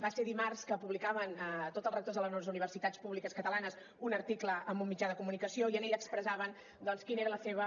va ser dimarts que publicaven tots els rectors de les universitats públiques catalanes un article en un mitjà de comunicació i en ell expressaven doncs quina era la seva